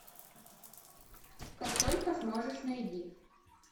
как только сможешь найди